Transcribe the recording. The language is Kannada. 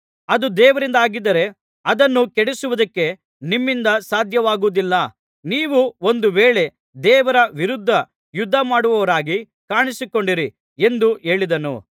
ಅದು ದೇವರಿಂದಾಗಿದ್ದರೆ ಅದನ್ನು ಕೆಡಿಸುವುದಕ್ಕೆ ನಿಮ್ಮಿಂದ ಸಾಧ್ಯವಾಗುವುದಿಲ್ಲ ನೀವು ಒಂದು ವೇಳೆ ದೇವರ ವಿರುದ್ಧ ಯುದ್ಧಮಾಡುವವರಾಗಿ ಕಾಣಿಸಿಕೊಂಡೀರಿ ಎಂದು ಹೇಳಿದನು